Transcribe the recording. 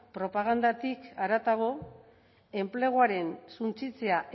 propagandatik haratago enpleguaren suntsitzea